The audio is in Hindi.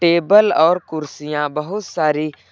टेबल और कुर्सियां बहुत सारी--